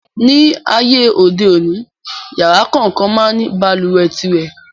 Ní ayé òde òní, yàrá kòókan máa ń ní balùwẹ̀ tirẹ̀.